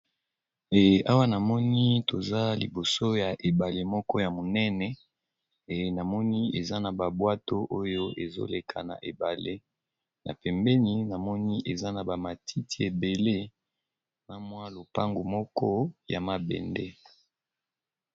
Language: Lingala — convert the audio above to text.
Awa namoni toza liboso ya ebale moko ya monene pe eza na ba bwato ezo leka na ebale na pembeni eza na ba matiti ebele pe na lopango ya mabende .